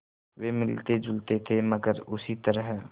वे मिलतेजुलते थे मगर उसी तरह